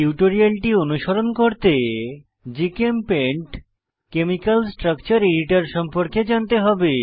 টিউটোরিয়ালটি অনুসরণ করতে জিচেমপেইন্ট কেমিকাল স্ট্রাকচার এডিটর সম্পর্কে জানতে হবে